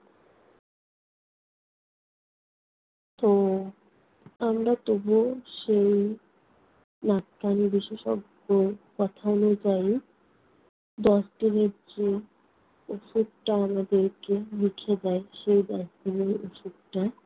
তো আমরা তবুও সেই নাক-কানে বিশেষজ্ঞ কথা অনু্যায়ী ডাক্তার মিত্র ঔষধটা আমাদেরকে লিখে দেয় সেই ঔষধটা